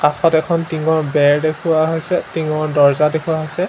কাষত এখন টিংঙৰ বেৰ দেখুওৱা হৈছে টিংঙৰ দৰ্জা দেখুওৱা হৈছে।